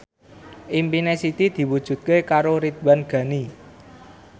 impine Siti diwujudke karo Ridwan Ghani